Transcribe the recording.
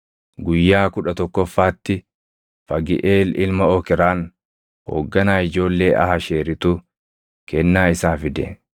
Guyyaa kudha tokkoffaatti Fagiʼeel ilma Okraan hoogganaa ijoollee Aasheeritu kennaa isaa fide.